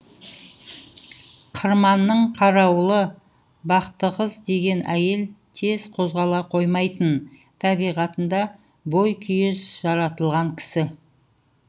қырманның қарауылы бақтықыз деген әйел тез қозғала қоймайтын табиғатында бойкүйез жаратылған кісі